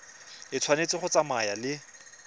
e tshwanetse go tsamaya le